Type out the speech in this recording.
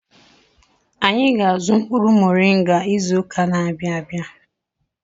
Anyị ga-azụ mkpụrụ moringa izụka n'abia abịa.